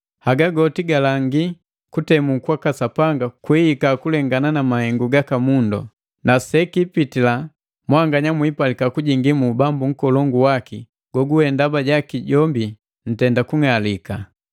Haga goti galangi kutemu kwaka Sapanga kwiihika kulengana na mahengu gaka mundu, na sekiipitila mwanganya mwiipalika kujingi mu ubambu nkolongu waki goguwe ndaba jaki jombi ntenda kung'alika.